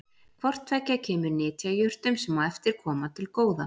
Hvort tveggja kemur nytjajurtum, sem á eftir koma, til góða.